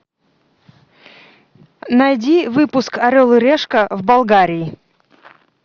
найди выпуск орел и решка в болгарии